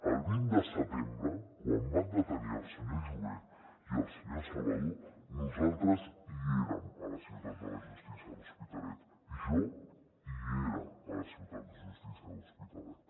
el vint de setembre quan van detenir el senyor jové i el senyor salvadó nosaltres hi érem a la ciutat de la justícia de l’hospitalet jo hi era a la ciutat de la justícia de l’hospitalet